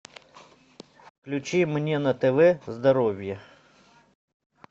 включи мне на тв здоровье